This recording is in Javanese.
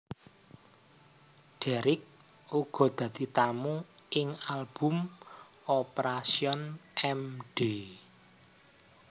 Deryck uga dadi tamu ing album Operation M D